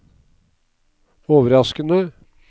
overraskende